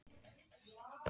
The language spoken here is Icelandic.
Aron Freyr.